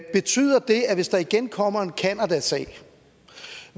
betyder det at hvis der igen kommer en canadasag